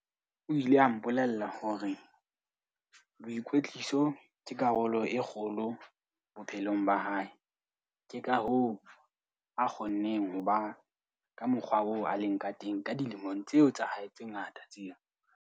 O ile a mpolella hore boikwetliso ke karolo e kgolo bophelong ba hae, ke ka hoo a kgonneng ho ba ka mokgwa oo a leng ka teng ka dilemong tseo tsa hae tse ngata tseo.